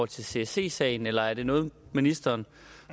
til csc sagen eller er det noget ministeren